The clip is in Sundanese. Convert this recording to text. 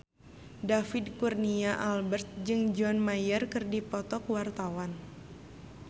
David Kurnia Albert jeung John Mayer keur dipoto ku wartawan